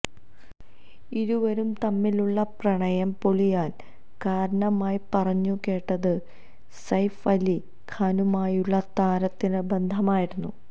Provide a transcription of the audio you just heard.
ഇരുവരും തമ്മിലുള്ള പ്രണയം പൊളിയാന് കാരണമായി പറഞ്ഞു കേട്ടത് സെയ്ഫ് അലി ഖാനുമായുള്ള താരത്തിന്റെ ബന്ധമായിരുന്നു